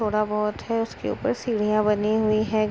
थोड़ा बोहोत है। उसके ऊपर सीढ़ियां बनी हुई है ।